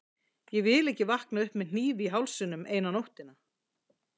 Ég vil ekki vakna upp með hníf í hálsinum eina nóttina.